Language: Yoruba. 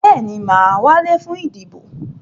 Bẹ́ẹ̀ni, mà á wálé fún ìdìbò.